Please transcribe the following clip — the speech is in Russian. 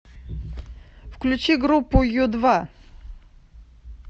включи группу ю два